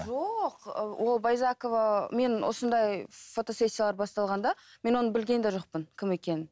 жоқ ол байзакова мен осындай фотосессиялар басталғанда мен оны білген де жоқпын кім екенін